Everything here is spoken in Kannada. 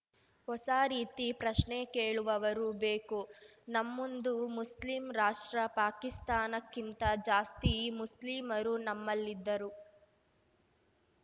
ಹೊಸ ರೀತಿ ಪ್ರಶ್ನೆ ಕೇಳುವವರು ಬೇಕು ನಮ್ಮುನ್ದು ಮುಸ್ಲಿಂ ರಾಷ್ಟ್ರ ಪಾಕಿಸ್ತಾನಕ್ಕಿಂತ ಜಾಸ್ತಿ ಮುಸ್ಲಿಮರು ನಮ್ಮಲ್ಲಿದ್ದರು